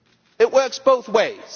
It works both ways.